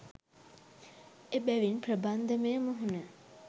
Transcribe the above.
එබැවින් ප්‍රබන්ධමය මුහුණ